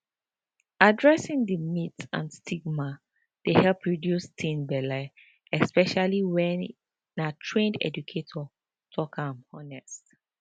addressing di myths and stigma dey help reduce teen belle especially when na trained educators talk am honest